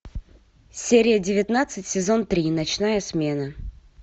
серия девятнадцать сезон три ночная смена